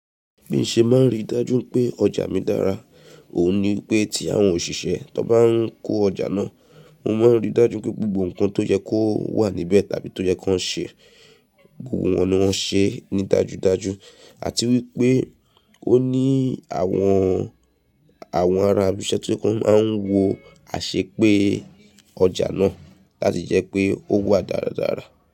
Bí mo ṣe máa ń rí dájú pé ọjà mi dára, òun ni pé tí àwọn òṣìṣẹ́ tó bá ń kó ọjà náà, mo máa ń rí dájú pé gbogbo nǹkan tó yẹ kó wà níbẹ̀ tàbí tó yẹ kó ń ṣe, gbogbo wọn ni wọ́n ṣe ní dájúdájú àti wípé ó ní àwọn, àwọn ará ibi iṣẹ́ tó máa ń wo àṣepé ọjà náà láti jẹ́ pé ó wà dáradára.